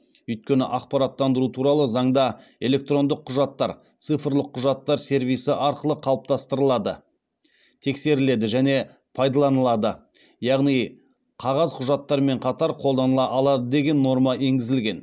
өйткені ақпараттандыру туралы заңда электрондық құжаттар цифрлық құжаттар сервисі арқылы қалыптастырылады тексеріледі және пайдаланылады яғни қағаз құжаттармен қатар қолданыла алады деген норма енгізілген